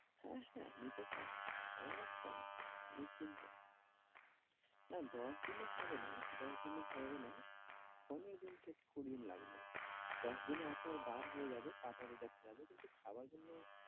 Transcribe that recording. হ্যাঁ হ্যাঁ নিতে পারেন একদম নিশ্চিন্তে। না দশ দিনে হবেনা, দশ দিনে হবেনা পনেরো দিন থেকে কুঁড়ি দিন লাগবে। দশ দিনে আপনার বার হয়ে যাবে পাতা দেখা যাবে কিন্তু খাওয়ার জন্য